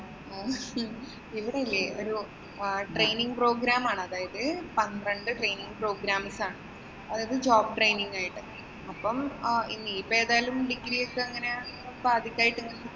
ഇവിടെയില്ലേ ഒരു training program ആണ്. അതായത് പന്ത്രണ്ട് training programs ആണ്. അതായത് job training ആയിട്ട്. അപ്പം ഇനിയിപ്പം ഏതായാലും degree യൊക്കെ ഇങ്ങനെ പാതിക്കായിട്ട്